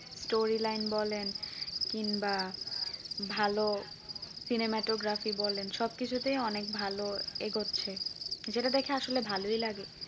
story line বলেন কিংবা ভালো cinematography বলেন সবকিছুতেই অনেক ভালো এগোচ্ছে যেটা দেখে আসলে ভালই লাগে